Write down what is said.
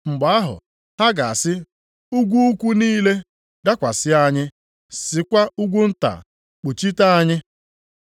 Mgbe ahụ, “ ‘ha ga-asị, ugwu ukwu niile, “Dakwasị anyị!” + 23:30 \+xt Hos 10:8\+xt* Sịkwa, ugwu nta, “Kpuchite anyị!” ’